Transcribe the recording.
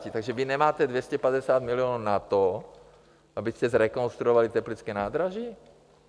Takže vy nemáte 250 milionů na to, abyste zrekonstruovali teplické nádraží?